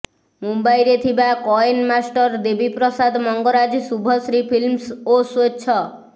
ମୁମ୍ବାଇରେ ଥିବା କଏନ ମାଷ୍ଟର ଦେବୀ ପ୍ରସାଦ ମଙ୍ଗରାଜ ଶୁଭଶ୍ରୀ ଫିଲ୍ମସ୍ ଓ ସ୍ବେଚ୍ଛ